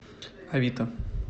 авито